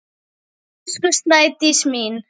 Elsku Snædís mín.